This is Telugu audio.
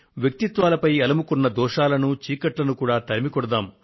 వ్యక్తిత్వాలపై అలుముకున్న దోషాలను చీకట్లను కూడా తరిమికొడదాం